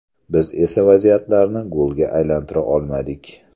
Biz esa vaziyatlarni golga aylantira olmadik.